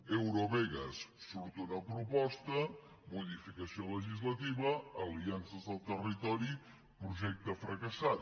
eurovegas surt una proposta modificació legislativa aliances al territori projecte fracassat